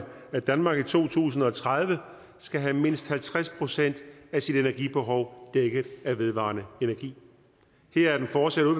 at danmark i to tusind og tredive skal have mindst halvtreds procent af sit energibehov dækket af vedvarende energi her er det fortsatte